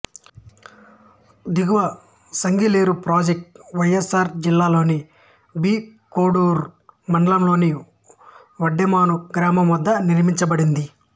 దిగువ Sagileru project YSR జిల్లాలో B Koduru మండలంలోని వడ్డెమాను గ్రామం వద్ద నిర్మించబడింది